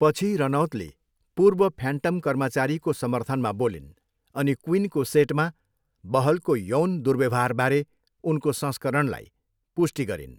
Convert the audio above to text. पछि रनौतले पूर्व फ्यान्टम कर्मचारीको समर्थनमा बोलिन् अनि क्विनको सेटमा बहलको यौन दुर्व्यवहारबारे उनको संस्करणलाई पुष्टि गरिन्।